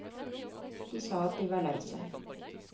De sa at de var lei seg.